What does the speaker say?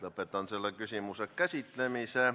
Lõpetan selle küsimuse käsitlemise.